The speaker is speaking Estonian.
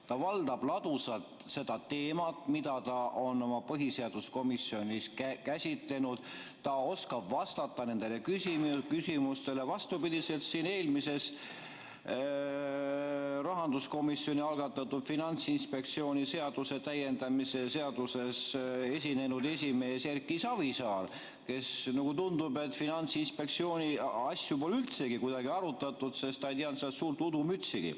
Ta valdab ladusalt seda teemat, mida ta on põhiseaduskomisjonis käsitlenud, ta oskab vastata nendele küsimustele, vastupidiselt eelmises, rahanduskomisjoni algatatud Finantsinspektsiooni seaduse täiendamise seaduse eelnõu esinenud esimehele Erki Savisaarele, kes, nagu tundub, Finantsinspektsiooni asju pole üldsegi kuidagi arutanud, sest ta ei teadnud sellest suurt udumütsigi.